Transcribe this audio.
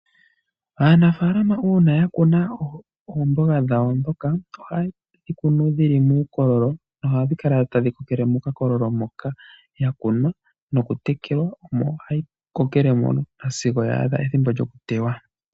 Aanafalama una ya kuna oomboga dhawo dhoka, ohaye dhi kunu dhili muukololo, noha dhi kala tadhi kokele mokakololo moka ya kunwa noku tekelwa, omo hayi kokele mono sigo ya adha ethimbo lyoku teywa.